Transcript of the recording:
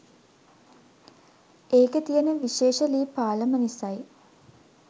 ඒකෙ තියෙන විශේෂ ලී පාලම නිසයි.